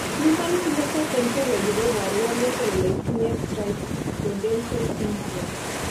human Phenotype Ontology koporu wolutik kole itinye Trichodental syndrome.